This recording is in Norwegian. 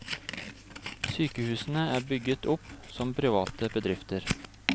Sykehusene er bygget opp som private bedrifter.